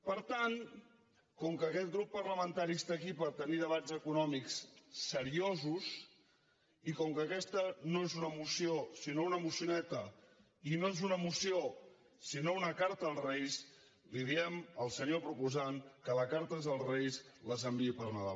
per tant com que aquest grup parlamentari està aquí per tenir debats econòmics seriosos i com que aques·ta no és una moció sinó una mocioneta i no és una moció sinó una carta als reis li diem al senyor propo·sant que les cartes als reis les enviï per nadal